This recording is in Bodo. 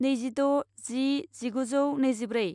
नैजिद' जि जिगुजौ नैजिब्रै